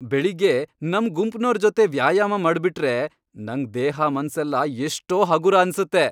ಬೆಳಿಗ್ಗೆ ನಮ್ ಗುಂಪ್ನೋರ್ ಜೊತೆ ವ್ಯಾಯಾಮ ಮಾಡ್ಬಿಟ್ರೆ ನಂಗ್ ದೇಹ ಮನ್ಸೆಲ್ಲ ಎಷ್ಟೋ ಹಗೂರ ಅನ್ಸತ್ತೆ.